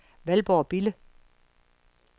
Valborg Bille